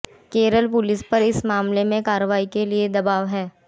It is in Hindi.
केरल पुलिस पर इस मामले में कार्रवाई के लिए दवाब है